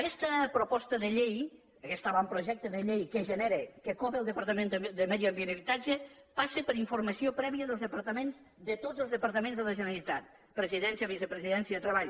aquesta proposta de llei aquest avantprojecte de llei que genera que cobra el departament de medi ambient i habitatge passa per informació prèvia dels departaments de tots els departaments de la generalitat presidència vicepresidència treball